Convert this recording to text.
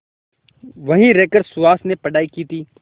वहीं रहकर सुहास ने पढ़ाई की थी